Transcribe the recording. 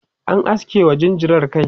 an aske wa jinjirar kai